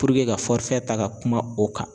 ka ta ka kuma o kan